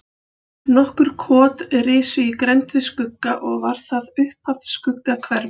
Nokkur kot risu í grennd við Skugga og var það upphaf Skuggahverfis.